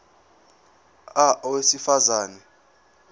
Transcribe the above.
a owesifaz ane